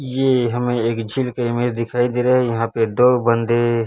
यह हमें एक झील का इमेज दिखाई दे रहा है यहाॅं पे दो बंदे--